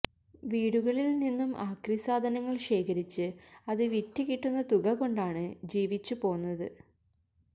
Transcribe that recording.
വീടുകളിൽ നിന്നും ആക്രി സാധനങ്ങൾ ശേഖരിച്ച് അത് വിറ്റ് കിട്ടുന്ന തുക കൊണ്ടാണ് ജീവിച്ചു പോന്നത്